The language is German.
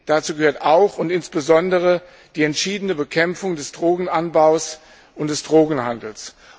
Dazu gehört auch und insbesondere die entschiedene Bekämpfung des Drogenanbaus und des Drogenhandels.